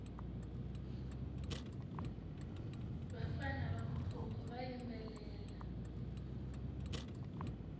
vafana va mukhukhu va yimbelela